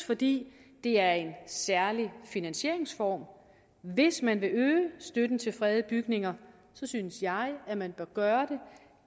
fordi det er en særlig finansieringsform hvis man vil øge støtten til fredede bygninger synes jeg at man bør gøre det